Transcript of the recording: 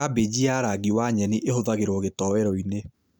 Kambĩji ya rangi wa nyeni ĩhũthagĩrwo gĩtowero-inĩ